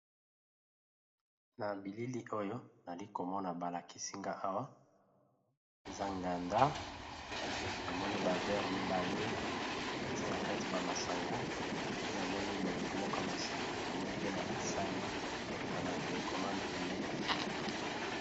Na bilili oyo nayali komona balakisi nga awa, eza nganda namoni ba verre mibale batie na kati ba masanga pe namoni molangi moka ya masanga namoni pe na basani na ba tele commande pembeni.